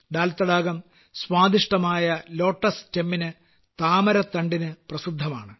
ദാൽ തടകം സ്വാദിഷ്ടമായ താമരത്തണ്ടിന് പ്രസിദ്ധമാണ്